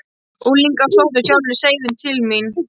Unglingar sóttu sjálfir seiðin til mín.